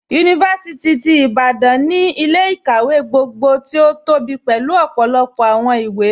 Yunifásìtì ti Ìbàdàn ni ilẹ̀-ikáwẹ̀ gbogbo tí o tóbí pélu ọpọlọpọ awọn ìwé.